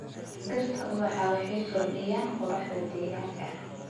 Dhirta ubaxa waxay kordhiyaan quruxda deegaanka.